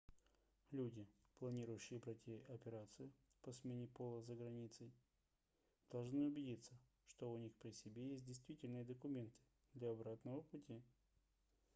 люди планирующие пройти операцию по смене пола за границей должны убедиться что у них при себе есть действительные документы для обратного пути